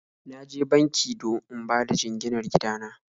Na je banki don in bada jinginar gida na